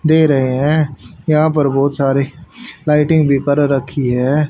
दे रहे है यहां पर बहुत सारे लाइटिंग भी कर रखी है।